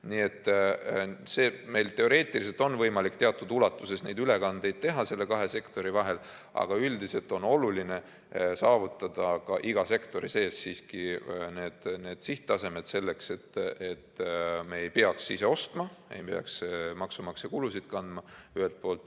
Nii et meil teoreetiliselt on võimalik teatud ulatuses neid ülekandeid teha nende kahe sektori vahel, aga üldiselt on oluline saavutada ka iga sektori sees need sihttasemed, selleks et me ei peaks ise ostma, et maksumaksja ei peaks kulusid kandma, ühelt poolt.